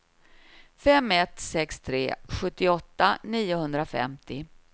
fem ett sex tre sjuttioåtta niohundrafemtio